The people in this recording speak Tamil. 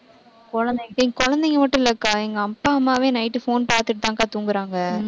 குழந்தைங்~ குழந்தைங்க மட்டும் இல்லக்கா எங்க அப்பா, அம்மாவே night phone பாத்துட்டு தான் அக்கா தூங்கறாங்க.